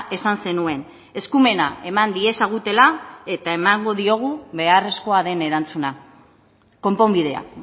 esan zenuen eskumena eman diezagutela eta emango diogu beharrezkoa den erantzuna konponbidea